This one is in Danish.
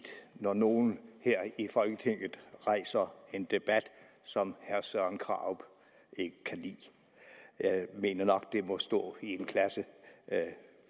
når nogle her i folketinget rejser en debat som herre søren krarup ikke kan lide jeg mener nok at det må stå i en klasse